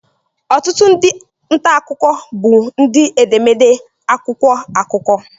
Ọtụtụ ndị nta akụkọ bụ ndị edemede akwụkwọ akụkọ